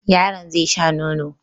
Yaron zai sha nono.